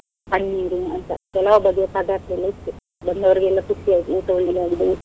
ಪನ್ನೀರು ಅಂತ ಕೆಲಾವ್ ಬಗೆ ಪದಾರ್ಥಯೆಲ್ಲ ಇತ್ತು, ಬಂದವ್ರೀಗೆಲ್ಲ ಖುಷಿ ಆಯ್ತು ಊಟ ಒಳ್ಳೇದ್ ಆಗಿದೆ.